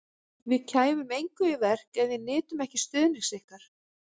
Við kæmum engu í verk, ef við nytum ekki stuðnings ykkar